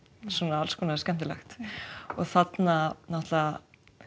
alls konar skemmtilegt þarna náttúrulega